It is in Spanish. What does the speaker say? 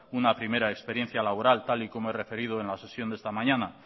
una primera experiencia laboral tal y como he referido en la sesión de esta mañana